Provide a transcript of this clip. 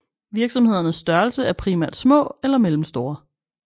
Virksomhedernes størrelse er primært små eller mellemstore